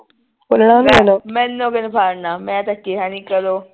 ਮੈਨੂੰ ਕੀਹਨੇ ਫੜਨਾ ਮੈਂ ਤਾਂ ਕਿਹਾ ਨਹੀਂ ਕਰੋ